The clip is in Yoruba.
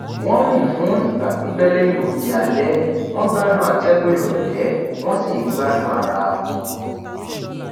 wọn rìn fún ìgbà pípẹ lẹyìn oúnjẹ alẹ wọn gbádùn atẹgùn ìrọlẹ wọn sì ń gbádùn ara wọn